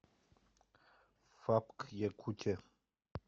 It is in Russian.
фапк якутия